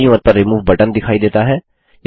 दायीं ओर पर रिमूव बटन दिखाई देता है